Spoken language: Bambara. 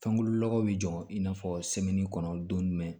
Fɛnkolo nɔgɔ bɛ jɔ i n'a fɔ kɔnɔ don jumɛn